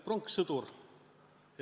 Pronkssõdur.